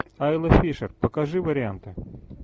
айла фишер покажи варианты